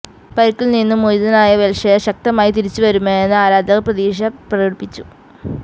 പരുക്കില് നിന്നും മോചിതനായി വെല്ഷയര് ശക്തമായി തിരിച്ചുവരുമെന്ന് ആരാധകര് പ്രതീക്ഷ പ്രകടിപ്പിച്ചു